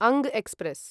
अङ्ग एक्स्प्रेस्